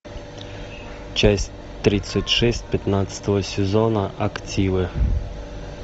часть тридцать шесть пятнадцатого сезона активы